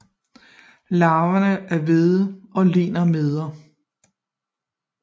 Larverne er hvide og ligner mider